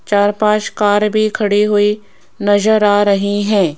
चार पांच कार भी खड़ी हुई नजर आ रही है।